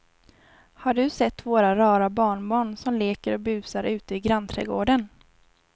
Har du sett våra rara barnbarn som leker och busar ute i grannträdgården!